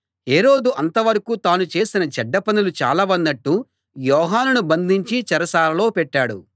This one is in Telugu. హేరోదు అంతవరకూ తాను చేసిన చెడ్డ పనులు చాలవన్నట్టు యోహానును బంధించి చెరసాలలో పెట్టాడు